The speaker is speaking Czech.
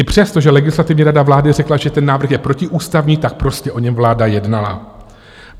I přesto, že Legislativní rada vlády řekla, že ten návrh je protiústavní, tak prostě o něm vláda jednala.